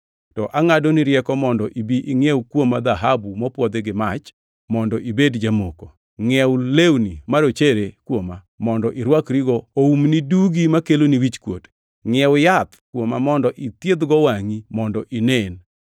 To angʼadoni rieko mondo ibi ingʼiew kuoma dhahabu mopwodhi gi mach mondo ibed jamoko. Ngʼiew lewni marochere kuoma mondo irwakrigo oumni dugi makeloni wichkuot. Ngʼiew yath kuoma mondo ithiedh-go wangʼi mondo inen.